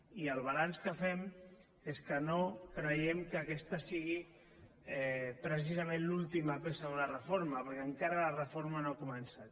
i el balanç que fem és que no creiem que aquesta sigui precisament l’última peça d’una reforma perquè encara la reforma no ha començat